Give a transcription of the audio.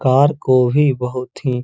car को ही बोहोत ही --